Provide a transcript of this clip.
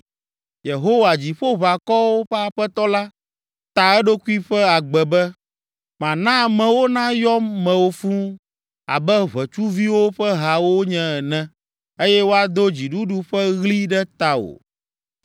Yehowa, Dziƒoʋakɔwo ƒe Aƒetɔ la, ta eɖokui ƒe agbe be: Mana amewo nayɔ mewò fũu abe ʋetsuviwo ƒe ha wonye ene, eye woado dziɖuɖu ƒe ɣli ɖe tawò.